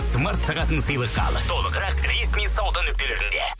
смарт сағатын сыйлыққа ал толығырақ ресми сауда нүктелерінде